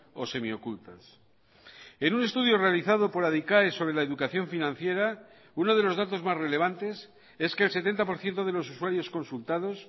o semiocultas en un estudio realizado por adicae sobre la educación financiera uno de los datos más relevantes es que el setenta por ciento de los usuarios consultados